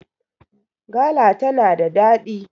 gala tana da daɗi!